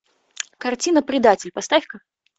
картина предатель поставь ка